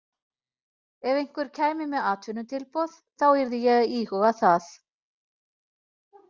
Ef einhver kæmi með atvinnutilboð þá yrði ég að íhuga það.